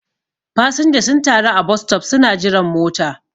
fasinja sun taru a bostop suna jiran mota